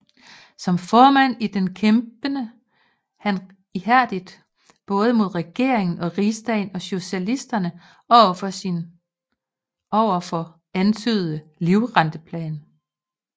Som formand i den kæmpede han ihærdigt både mod regering og Rigsdag og socialisterne for sin ovenfor antydede livrenteplan